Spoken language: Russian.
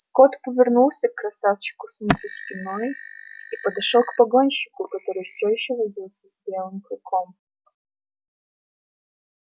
скотт повернулся к красавчику смиту спиной и подошёл к погонщику который всё ещё возился с белым клыком